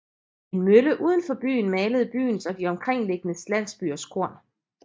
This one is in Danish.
En mølle uden for byen malede byens og de omkringliggende landsbyers korn